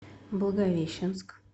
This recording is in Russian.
благовещенск